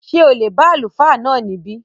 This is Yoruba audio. Ṣé o lè bá Àlùfáà náà níbí?